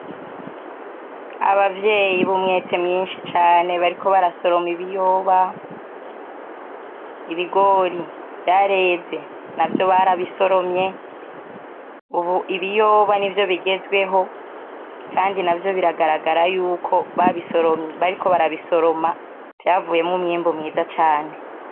Abavyeyi bumwete mwishi cane bariko barasoroma ibiyoba, ibigori vyareze navyo barabisoromye ubu ibiyoba nivyo bigezweho kandi navyo biragagara yuko babisoromye, bariko barabisoroma vyavuyemwo umwimbu mwiza cane